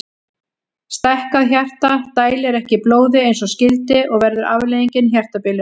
Stækkað hjarta dælir ekki blóði eins og skyldi og verður afleiðingin hjartabilun.